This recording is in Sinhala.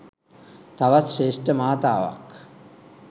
තවත් ශ්‍රේෂ්ඨ මාතාවක්.